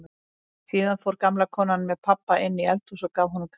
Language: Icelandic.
Síðan fór gamla konan með pabba inn í eldhús og gaf honum kaffi.